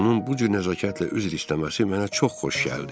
Onun bu cür nəzakətlə üzr istəməsi mənə çox xoş gəldi.